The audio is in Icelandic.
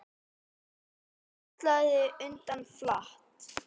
Hann hallaði undir flatt.